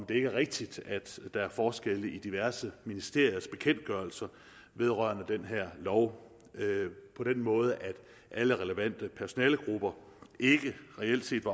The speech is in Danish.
det er rigtigt at der er forskelle i diverse ministeriers bekendtgørelser vedrørende den her lov på den måde at alle relevante personalegrupper reelt set